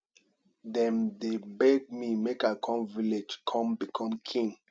dem dey beg me make i come village come become king